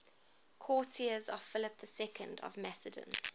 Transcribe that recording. courtiers of philip ii of macedon